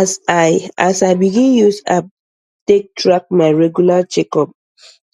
as i as i begin use app take track my regular checkup